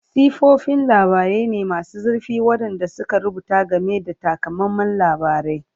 Siffofin labarai ne masu zurfi waɗanda suka rubuta game da takamaiman labarai.